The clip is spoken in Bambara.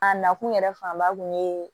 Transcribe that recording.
A nakun yɛrɛ fanba kun ye